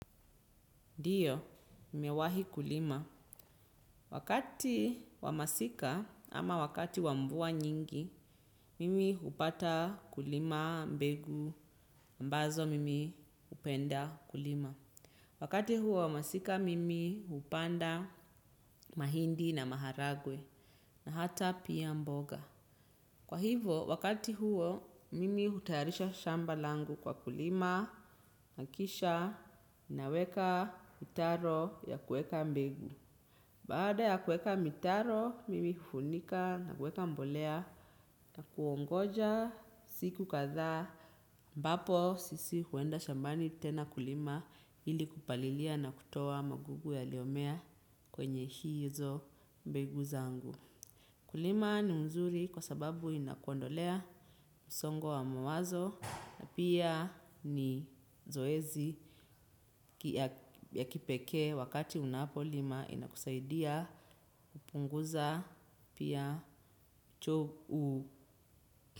Dio, mmewahi kulima. Wakati wamasika, ama wakati wa mvua nyingi, mimi hupata kulima mbegu, ambazo mimi upenda kulima. Wakati huu wa masika mimi hupanda mahindi na maharagwe. Na hata pia mboga. Kwa hivo, wakati huo, mimi hutayarisha shamba langu kwa kulima, na kisha, naweka mtaro ya kueka mbegu. Baada ya kueka mitaro, mimi hufunika na kueka mbolea na kuongoja, siku kathaa, mbapo sisi huenda shambani tena kulima ili kupalilia na kutoa magugu yaliomea kwenye hizo mbegu zangu. Kulima ni mzuri kwa sababu, inakuondolea msongo wa mawazo na pia, ni zoezi ya kipekee wakati unapolima inakusaidia upunguza pia, cho u.